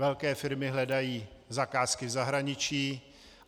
Velké firmy hledají zakázky v zahraničí.